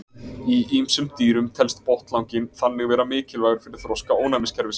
í ýmsum dýrum telst botnlanginn þannig vera mikilvægur fyrir þroska ónæmiskerfisins